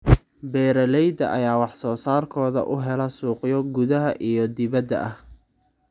Beeralayda ayaa wax soo saarkooda u hela suuqyo gudaha iyo dibadda ah.